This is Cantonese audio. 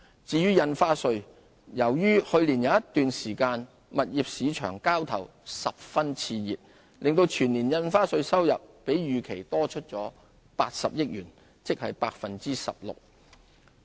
至於印花稅，由於去年有一段時間物業市場交投十分熾熱，令全年印花稅收入比預期多80億元，即 16%。